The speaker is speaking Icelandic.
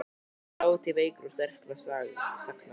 Þátíð veikra og sterkra sagna.